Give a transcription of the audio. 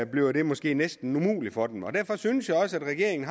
bliver det måske næsten umuligt for dem at klage derfor synes jeg også at regeringen